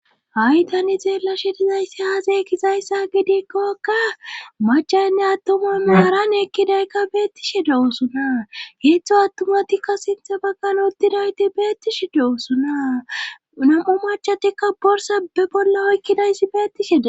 ha7i tani xeella shidizayssi haazey kizayssa gidikkokka machaynne attomami haran ekkidaykka beettishi dewosuna heeththo attomatikka sinthe bakkan uttidayti beettishi dewosuna nam7o machatikka borsa be bolla oykkidayssi beettisheda